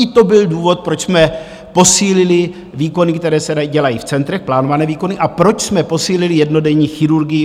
I to byl důvod, proč jsme posílili výkony, které se dělají v centrech, plánované výkony, a proč jsme posílili jednodenní chirurgii.